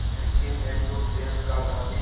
लेकिन एकजुट देश का गांधी